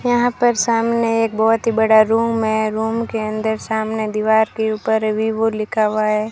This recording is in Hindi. यहां पर सामने एक बहुत ही बड़ा रूम है रूम के अंदर सामने दीवार के ऊपर वीवो लिखा हुआ है।